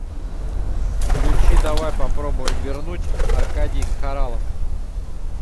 включи давай попробуем вернуть аркадий хоралов